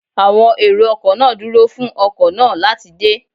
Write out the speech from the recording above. Àwọn èrò ọkọ̀ náà dúró fún ọkọ̀ náà láti dé